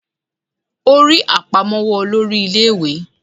O rí àpamọ́wọ́ olórí ilé ìwé